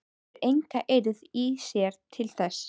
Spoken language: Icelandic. Hefur enga eirð í sér til þess.